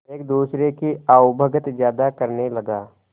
एक दूसरे की आवभगत ज्यादा करने लगा